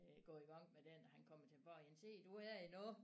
Gå i gang med den han kommer tilbage igen se du er her endnu